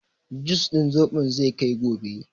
Jus din zobon zai kai gobe.